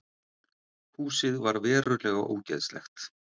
Húsið var verulega ógeðslegt